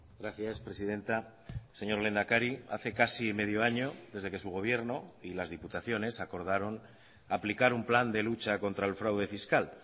gracias presidenta señor lehendakari hace casi medio año desde que su gobierno y las diputaciones acordaron aplicar un plan de lucha contra el fraude fiscal